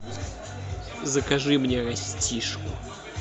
закажи мне растишку